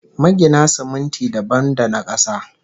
Magina siminti dabam da na kasa